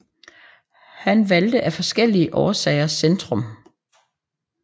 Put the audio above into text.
Han valgte af forskellige årsager Centrum